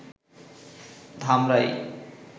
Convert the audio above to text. Dhamrai